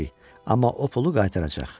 Amma o pulu qaytaracaq.